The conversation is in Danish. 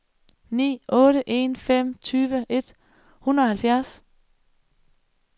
ni otte en fem tyve et hundrede og halvfjerds